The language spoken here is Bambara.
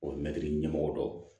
O mɛtiri ɲɛmɔgɔ dɔ